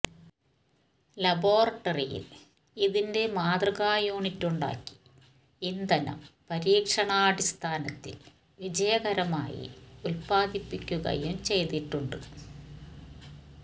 ലബോറട്ടറിയിൽ ഇതിന്റെ മാതൃകാ യൂണിറ്റുണ്ടാക്കി ഇന്ധനം പരീക്ഷണാടിസ്ഥാനത്തിൽ വിജയകരമായി ഉത്പാദിപ്പിക്കുകയും ചെയ്തിട്ടുണ്ട്